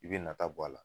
I bɛ nata bɔ a la